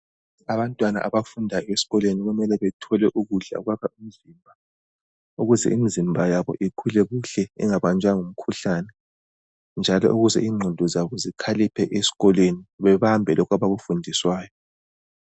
Abantwana abafunda esikolweni kumele bathole ukudla okwakha umzimba, ukuze imizimba yabo ikhule kuhle ingabanjwa ngumkhuhlane njalo ukuze ingqondo zabo zikhaliphe esikolweni babambe lokho abakufundiswayo